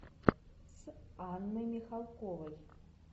с анной михалковой